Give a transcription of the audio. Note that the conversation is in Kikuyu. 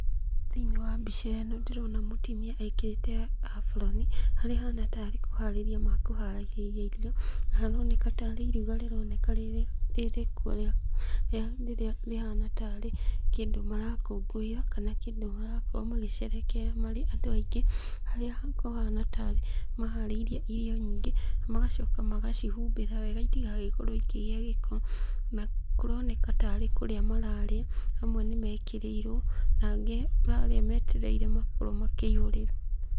Thĩiniĩ wa mbica ĩno ndĩrona mũtimia ekĩrĩte aburoni harĩa ahana tarĩ kũharĩria mekũharagiria irio, na haroneka tarĩ iruga rĩrĩ rĩrĩkuo rĩa rĩrĩa rĩhana tarĩ kĩndũ marakũngũĩra kana kĩndũ marakorwo magĩcerehekea marĩ andũ aingĩ harĩa kũhana tarĩ maharĩirie irio nyingĩ magacoka magacihumbĩra wega itigagĩkorwo ikĩgia gĩko. Na kũroneka tarĩ kũrĩa mararĩa amwe nĩmekĩrĩirwo na angĩ harĩa metereire makorwo makĩihũrĩrwo.